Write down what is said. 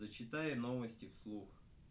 зачитай ей новости вслух